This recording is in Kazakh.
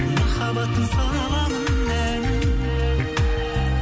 махаббаттың саламын әнін